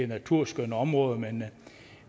naturskønne områder men